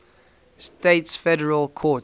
states federal courts